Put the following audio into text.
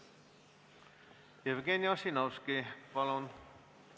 Jevgeni Ossinovski, palun!